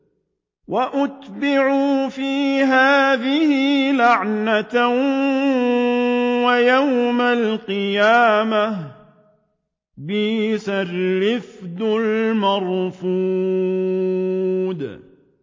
وَأُتْبِعُوا فِي هَٰذِهِ لَعْنَةً وَيَوْمَ الْقِيَامَةِ ۚ بِئْسَ الرِّفْدُ الْمَرْفُودُ